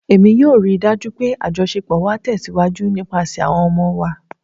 Emi yoo rii daju pe ajọṣepọ wa tẹsiwaju nipasẹ awọn ọmọ wa